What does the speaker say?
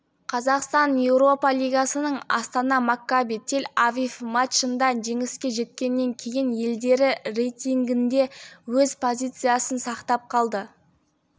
қазақстан еуропа лигасының астана маккаби тель-авив матчында жеңіске жеткеннен кейін елдері рейтингінде өз позициясын сақтап қалды